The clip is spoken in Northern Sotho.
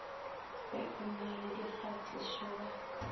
ge o na le dikgatišobaka